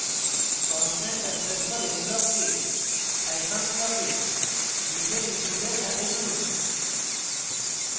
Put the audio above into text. constant underscore m ব্লককে scifunc ব্লকের নীচের input সাথে জুড়ুন